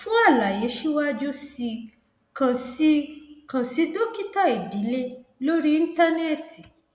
fún àlàyé síwájú sí i kàn sí i kàn sí dókítà ìdílé lórí íńtánẹẹtì